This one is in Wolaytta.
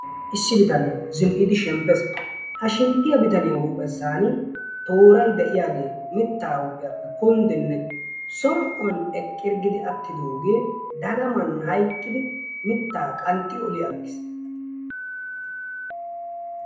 Issi bitanee zin'idi shemppes. Ha shemppiya bitaniya huuphessan tooray de'iyagee mittaa huuphiyappe kunddinne som'uwan eqqirggidi attidoogee dagaman hayiqqidi mittaa qanxxi oliyaaggis.